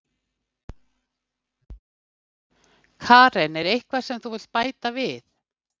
Karen: Er eitthvað sem þú vilt bæta við?